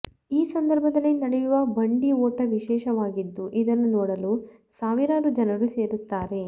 ಈ ಸಂದರ್ಭದಲ್ಲಿ ನಡೆಯುವ ಬಂಡಿ ಓಟ ವಿಶೇಷವಾಗಿದ್ದು ಇದನ್ನು ನೋಡಲು ಸಾವಿರಾರು ಜನರು ಸೇರುತ್ತಾರೆ